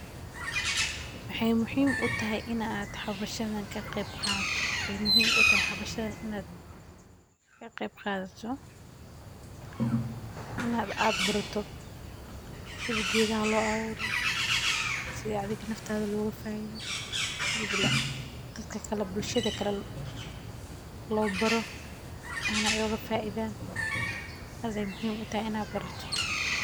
Maxay muhiim utahay xabashadan inad la qeb qadato, inad ad barato sida gedaha loo abuuro sidi adi nafta loga faa'iido, sida dadka kale bulshada lale loo baaro ayna oga faa'iidan ,tas ayay muhiim utahay inad barato